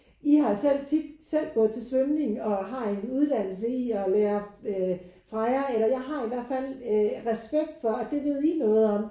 I har selv tit selv gået til svømning og har en uddannelse i at lære øh fra jer eller jeg har i hvert fald øh respekt for at det ved I noget om